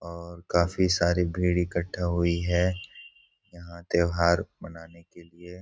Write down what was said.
और काफी सारी भीड़ इकट्ठा हुई है यहाँ त्योहार मनाने के लिए।